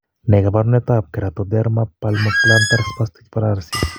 Ne kaabarunetap Keratoderma palmoplantar spastic paralysis?